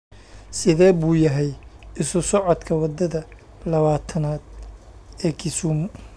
Sidee buu yahay isu socodka wadada lawatan -aad ee Kisumu?